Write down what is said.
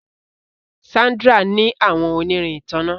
Sandra ní àwọn onirin ìtanná